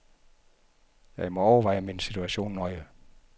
Jeg må overveje min situation nøje.